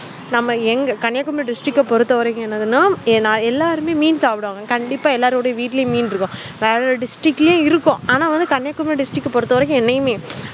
நம்ம எங்க கன்னியாகுமர district அஹ் பொருத்தவரைக்கும் என்னனா எல்லாருமே மீன் சாப்பிடுவாங்க எல்லாருடைய வீட்லயும் மீன் இருக்கும் வேற district ளையும் இருக்கும் ஆனாகன்னியாகுமரி district அஹ் பொருத்தவரைக்கும்